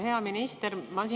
Hea minister!